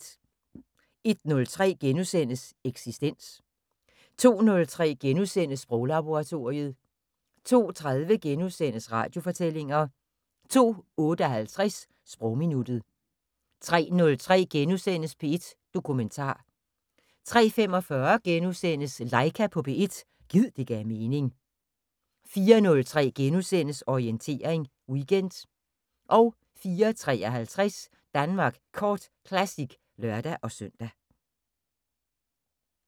01:03: Eksistens * 02:03: Sproglaboratoriet * 02:30: Radiofortællinger * 02:58: Sprogminuttet 03:03: P1 Dokumentar * 03:45: Laika på P1 – gid det gav mening * 04:03: Orientering Weekend * 04:53: Danmark Kort Classic (lør-søn)